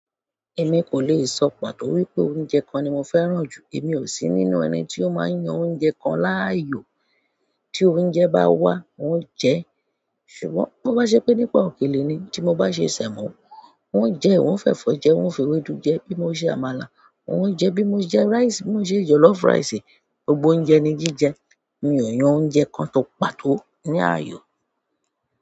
Èmi kò le è sọ pàtó wípé oúnjẹ kan ni mo fẹ́ràn jù. Èmi ò sí nínú ẹni tí ó máa ń yan oúnjẹ kan láàyò. Tí oúnjẹ bá wà, n ó jẹ ẹ. Ṣùgbọ́n bó bá ṣe pé nípa òkèlè ni tí mo bá ṣe semo, wun ó jẹ ẹ, wun ó fẹ́ fọ jẹ ẹ, wun ó fi ewédú jẹ ẹ bí mo ṣe àmàlà, wuń o jẹ ẹ bí mo jẹ rice, bí mo jẹ jollof rice, gbogbo oúnjẹ ni jí jẹ. Mi o yan ọ̀únjẹ kàn kan pàtó ni ayo.